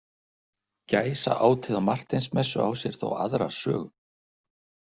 Gæsaátið á Marteinsmessu á sér þó aðra sögu.